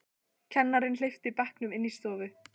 Kennarinn hleypti bekknum inn í stofu.